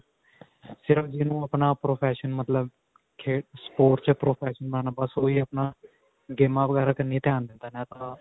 ਸਿਰਫ ਜਿਨੂੰ ਆਪਣਾ profession ਮਤਲਬ ਖੇਡ sports ਵਿੱਚ profession ਬਸ ਓਹੀ ਆਪਣਾ ਗੇਮਾਂ ਵਗੈਰਾ ਕੰਨੀਂ ਧਿਆਨ ਦਿੰਦਾ ਨਹੀ ਤਾਂ.